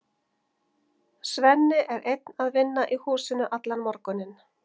Svenni er einn að vinna í húsinu allan morguninn.